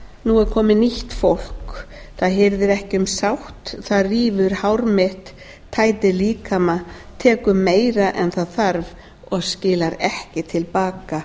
nú er komið nýtt fólk það hirðir ekki um sátt það rífur hár mitt tætir líkama tekur meir en það þarf og skilar ekki til baka